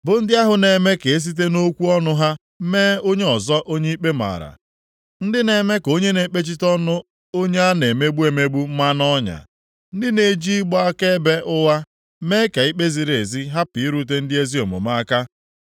bụ ndị ahụ na-eme ka e site nʼokwu ọnụ ha mee onye ọzọ onye ikpe mara, ndị na-eme ka onye na-ekpechite ọnụ onye a na-emegbu emegbu maa nʼọnya, ndị na-eji ịgba akaebe ụgha mee ka ikpe ziri ezi hapụ irute ndị ezi omume aka.